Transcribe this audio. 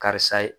Karisa ye